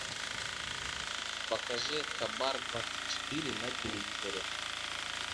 покажи хабар двадцать четыре на телевизоре